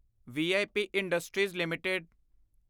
we I P industries LTD